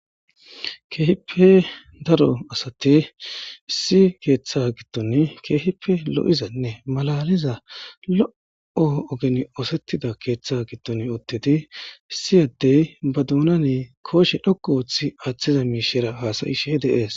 Kehippe daro assathi issi keththe gidon kehippe loo'zanne mallaliza loo' ogeni osethiza kethe gidon uttidi Issi adde ba duneni koshe dhoqqu uttiza mishera has'shera dees.